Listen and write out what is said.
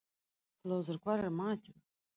Hlöður, hvað er í matinn?